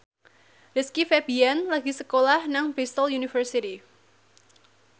Rizky Febian lagi sekolah nang Bristol university